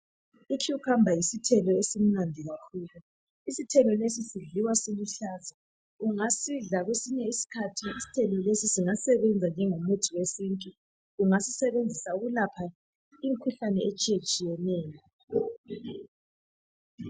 Icucumber yisithelo esimnandi kakhulu. Isithelo lesi sidliwa siluhlaza. Ungasidla kwesinye isikhathi isithelo lesi singasebenza njengomuthi wesintu. Ungasisebenzisa ukulapha imkhuhlane etshiyetshiyeneyo.